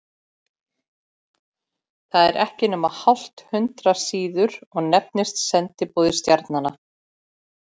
Það er ekki nema hálft hundrað síður og nefnist Sendiboði stjarnanna.